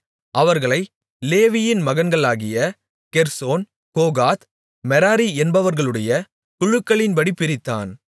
அவர்களை லேவியின் மகன்களாகிய கெர்சோன் கோகாத் மெராரி என்பவர்களுடைய குழுக்களின்படி பிரித்தான்